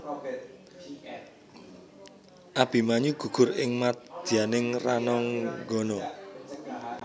Abimanyu gugur ing madyaning rananggana